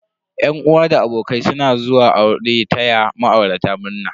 Yan uwa da abokai suna zuwa aure taya ma'aurata murna.